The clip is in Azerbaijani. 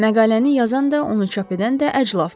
Məqaləni yazan da, onu çap edən də əclafdır.